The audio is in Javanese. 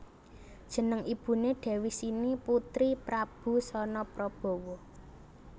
Jeneng ibuné Dewi Sini putri Prabu Sanaprabawa